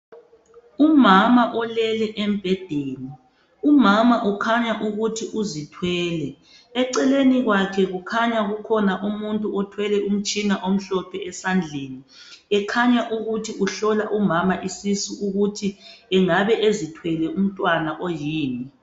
Umama olele embhedeni umama ukhanya ukuthi uzithwele eceleni kwakhe kukhanya kukhona umuntu othwele umtshina omhlophe esandleni ekhanya ukuthi uhlola umama isisu ukuthi engabe ezithwele umntwana oyini.